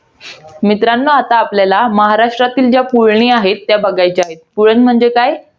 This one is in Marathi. मित्रांनो आता आपल्याला महाराष्ट्रातल्या पुळणी आहेत, त्या बघायच्या आहेत. पुळण म्हणजे काय?